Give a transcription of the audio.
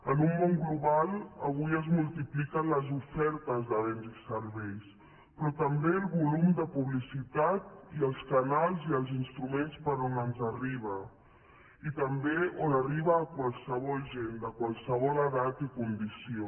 en un món global avui es multipliquen les ofertes de béns i serveis però també el volum de publicitat i els canals i els instruments per on ens arriben i també arriben a qualsevol gent de qualsevol edat i condició